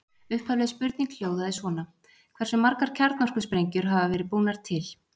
Upphafleg spurning hljóðaði svona: Hversu margar kjarnorkusprengjur hafa verið búnar til?